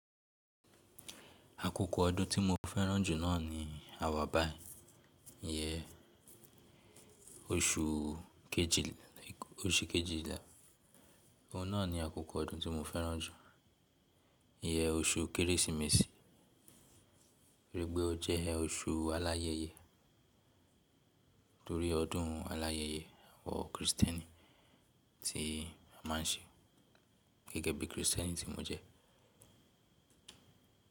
Àkókò ọdún tí mo fẹ́ràn jù náà ni àwàbàì, ìyẹ́n oṣù kejìlá. Òun náà ni àkókò ọdún tí mo fẹ́ràn jù, ìyẹ́n oṣù kérésìmesì, toripe ó jẹ́ oṣù aláyẹyẹ torí ọdún aláyẹyẹ àwọn Krìsìtẹ́nì tí a má ń ṣe gẹ́gẹ́ bí Krìsìtẹ́nì tí mo jẹ́.